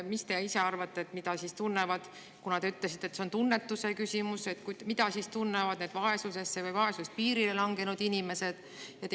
Mis te ise arvate – te ütlesite, et see on tunnetuse küsimus –, mida siis tunnevad need vaesusesse või vaesuspiirile langenud inimesed?